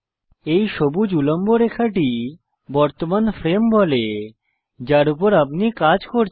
এই সবুজ উল্লম্ব রেখাটি বর্তমান ফ্রেম বলে যার উপর আপনি কাজ করছেন